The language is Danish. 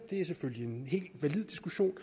det er selvfølgelig en helt valid diskussion